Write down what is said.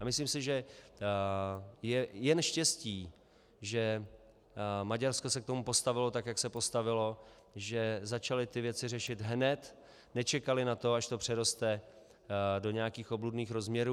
A myslím si, že je jen štěstí, že Maďarsko se k tomu postavilo tak, jak se postavilo, že začali ty věci řešit hned, nečekali na to, až to přeroste do nějakých obludných rozměrů.